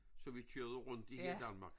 Så vi kørte rundt i Danmark